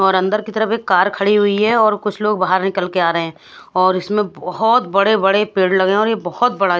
और अंदर की तरफ एक कार खड़ी हुई है और कुछ लोग बाहर निकल के आ रहे हैं और इसमें बहोत बड़े बड़े पेड़ लगे हुए हैं और ये बहोत बड़ा--